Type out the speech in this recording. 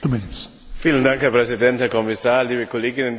Herr Präsident, Herr Kommissar, liebe Kolleginnen, liebe Kollegen!